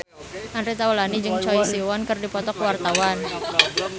Andre Taulany jeung Choi Siwon keur dipoto ku wartawan